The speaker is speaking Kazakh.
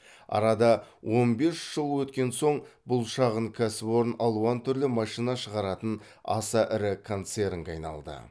арада он бес жыл өткен соң бұл шағын кәсіпорын алуан түрлі машина шығаратын аса ірі концернге айналды